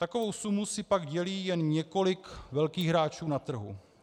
Takovou sumu si pak dělí jen několik velkých hráčů na trhu.